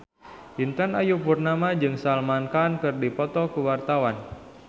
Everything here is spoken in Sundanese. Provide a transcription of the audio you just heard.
Intan Ayu Purnama jeung Salman Khan keur dipoto ku wartawan